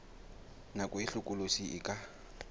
nako e hlokolosi e ka